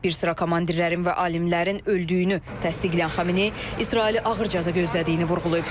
Bir sıra komandirlərin və alimlərin öldüyünü təsdiqləyən Xameneyi İsraili ağır cəza gözlədiyini vurğulayıb.